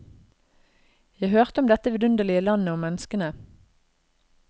Jeg hørte om dette vidunderlige landet og menneskene.